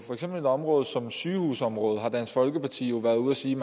et område som sygehusområdet har dansk folkeparti jo været ude og sige